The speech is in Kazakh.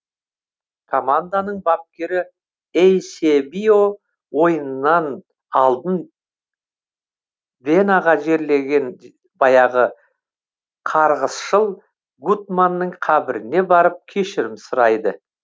команданың бапкері эйсебио ойыннан алдын венаға жерленген баяғы қарғысшыл гутманның қабіріне барып кешірім сұрайды